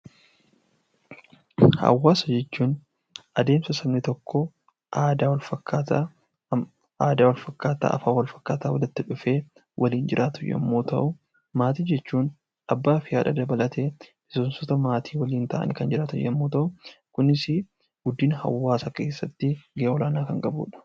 Hawaasa jechuun adeemsa sabni tokko aadaa wal fakkaataa, afaan wal fakkaataa walitti dhufee waliin jiraatu yommuu ta'u; Maatii jechuun Abbaa fi Haadha dabalatee miseensota maatii waliin ta'anii kan jiraatan yommuu ta'uu, kunisi guddina hawaasaa keessatti gahee olaanaa kan qabu dha.